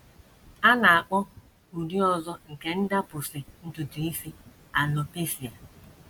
A na - akpọ ụdị ọzọ nke ndapụsị ntutu isi alopecia.